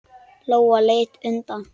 Lóa leit undan.